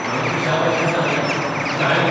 हावें पिशांभाशेन सांगलेंः 'शाळेंत !